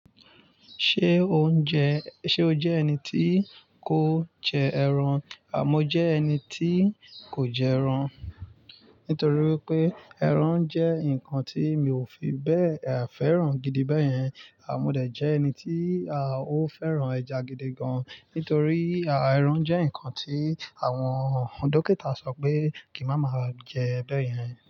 Ṣé o ń jẹ-- ṣe o jẹ́ ẹni tí kò ń jẹ ẹran? Àmó jẹ́ ẹni tí kò jẹ ẹran nítorí wípé ẹran jẹ́ ǹkan tí mi ò fi bẹ́ẹ̀ fẹ́ràn gidi bẹ́yẹn. À mó dè jẹ́ ẹni tí à ó fẹ́ràn ẹja gidi gan. Nítorí à ẹran jẹ́ ǹkan tí àwọn dókítà sọ pé kì máa ma jẹ bẹ́yẹn.